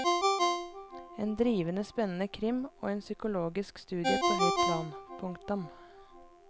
En drivende spennende krim og en psykologisk studie på høyt plan. punktum